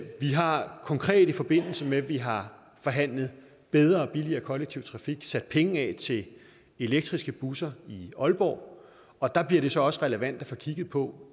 har konkret i forbindelse med at vi har forhandlet bedre og billigere kollektiv trafik sat penge af til elektriske busser i aalborg og der bliver det så også relevant at få kigget på